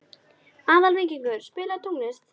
Aðalvíkingur, spilaðu tónlist.